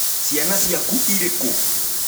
Cĩana ciaku ĩrĩ kũ?